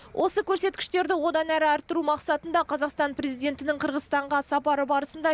осы көрсеткіштерді одан әрі арттыру мақсатында қазақстан президентінің қырғызстанға сапары барысында